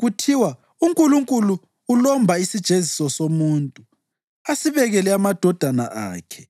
Kuthiwa, ‘UNkulunkulu ulomba isijeziso somuntu asibekele amadodana akhe.’